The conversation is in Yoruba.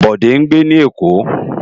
Bode ngbé ni Ekó